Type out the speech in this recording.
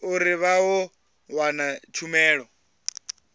uri vha ḓo wana tshumelo